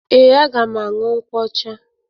Ee, aga m aṅụ nkwụ ọcha.